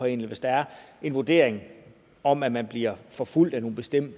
en eller hvis der er en vurdering om at man bliver forfulgt af nogle bestemte